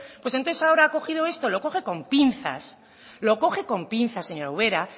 pues entonces ahora ha cogido esto lo coge con pinzas lo coge con pinzas señora ubera